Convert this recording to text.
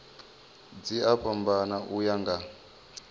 dzi a fhambana uya nga